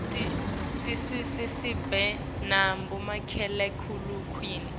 tisisita sibe nabo makhalekhukhwini